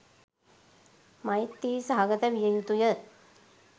මෛත්‍රී සහගත විය යුතුය.